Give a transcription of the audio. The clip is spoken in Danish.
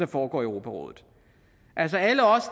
foregår i europarådet alle os